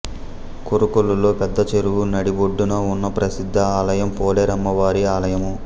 కోరుకొల్లులో పెద్దచెరువు నడిబొడ్డున ఉన్న ప్రసిద్ధ ఆలయం పోలేరమ్మ వారి ఆలయము